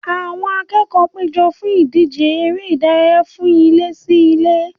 Àwọn akẹ́kọ̀ọ́ péjọ fún ìdíje eré ìdárayá fún ilé-sí-ilé